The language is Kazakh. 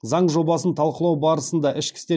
заң жобасын талқылау барысында ішкі істер